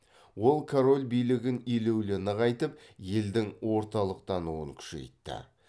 ол король билігін елеулі нығайтып елдің орталықтануын күшейтті